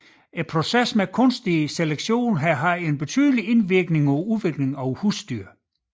Processen med kunstig selektion har haft en betydelig indvirkning på udviklingen af husdyr